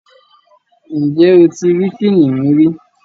Ǹjẹ́ o ti rí kìnnìún rí?